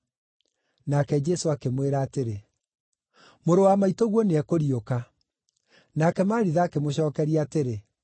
Nake Jesũ akĩmwĩra atĩrĩ, “Mũrũ wa maitũguo nĩekũriũka.” Nake Maritha akĩmũcookeria atĩrĩ,